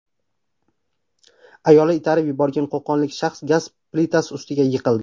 Ayoli itarib yuborgan qo‘qonlik shaxs gaz plitasi ustiga yiqildi.